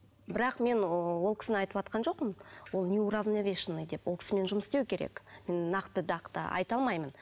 бірақ мен ыыы ол кісіні айтыватқан жоқпын ол неуравновешанный деп ол кісімен жұмыс істеу керек нақты дақты айта алмаймын